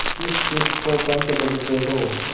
किसकिस को पंच बदते हो